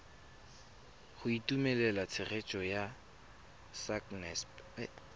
go itumelela tshegetso ya sacnasp